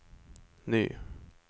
ny